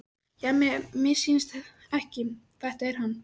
Já, mér missýnist ekki, þetta er hann.